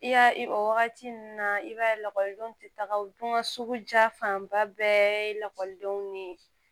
I y'a i wagati ɲuman i b'a ye lakɔlidenw tɛ taga o dun ka suguja fanba bɛɛ lakɔlidenw ni